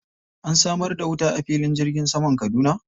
An samar da ruwa a filin jirgin saman Kaduna?